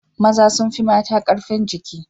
Maza sun fi mata ƙarfin jiki.